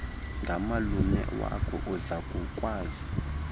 ngamalume wako uzakukwazi